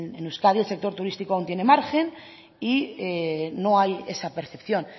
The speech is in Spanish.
en euskadi el sector turístico aún tiene margen y no hay esa percepción